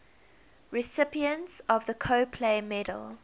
recipients of the copley medal